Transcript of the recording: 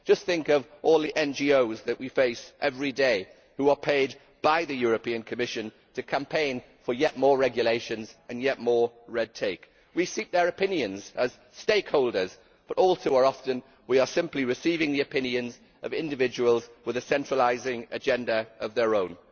Just think of all the NGOs that we face every day, which are paid by the Commission to campaign for yet more regulations and yet more red tape. We seek their opinions as stakeholders, but all too often we are simply receiving the opinions of individuals with a centralising agenda of their own.